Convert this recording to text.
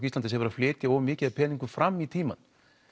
Íslandi sem er að flytja of mikið af peningum fram í tímann